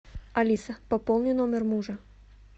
алиса пополни номер мужа